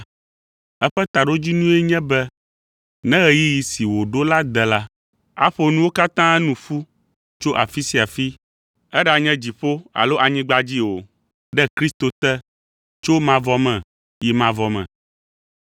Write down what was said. Eƒe taɖodzinue nye be ne ɣeyiɣi si wòɖo la de la, aƒo nuwo katã nu ƒu tso afi sia afi, eɖanye dziƒo alo anyigba dzi o, ɖe Kristo te, tso mavɔ me yi mavɔ me.